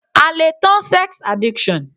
A le tan sex addiction.